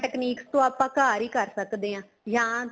techniques ਤੋਂ ਆਪਾਂ ਘਰ ਹੀ ਕਰ ਸਕਦੇ ਹਾਂ ਜਾਂ